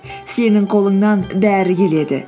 сенің қолыңнан бәрі келеді